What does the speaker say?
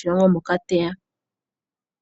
shomoshilongo moka te ya.